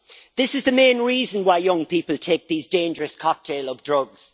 This is the main reason why young people take these dangerous cocktails of drugs.